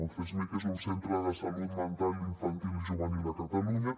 un csmij és un centre de salut mental infantil i juvenil a catalunya